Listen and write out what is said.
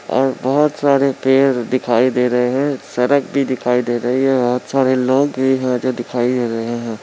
और बहुत सारे पेड़ दिखाई दे रहे है सड़क भी दिखाई दे रही है बहुत सारे लोग भी है जो दिखाई दे रहे है।